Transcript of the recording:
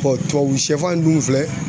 tubabu sɛfan dun filɛ